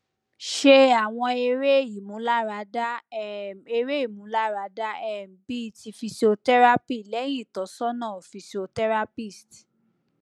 se awon ere imularada um ere imularada um bi ti physiotherapy lehin itosona physiotherapist